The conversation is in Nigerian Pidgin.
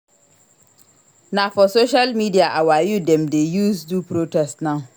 Na for social media our youth dem dey use do protest now